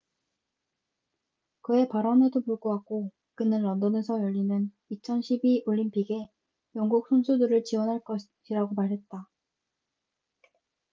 그의 발언에도 불구하고 그는 런던에서 열리는 2012 올림픽에 영국 선수들을 지원할 것이라고 말했다